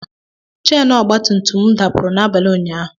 Cheenu ọgba tum tum m dapụrụ n'abalị ụnyahụ